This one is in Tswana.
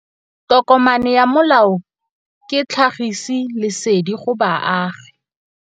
Tokomane ya molao ke tlhagisi lesedi go baagi.